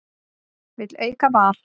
Vill auka val